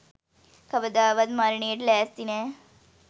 කවදාවත් මරණයට ලෑස්ති නෑ.